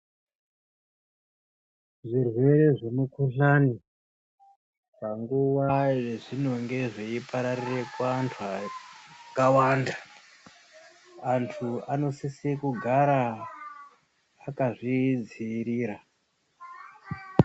Zvirwere zvemukhuhlani, panguwa yezvinonge zvipararire kuantu akawanda, antu anosise kugara akazvidziirira.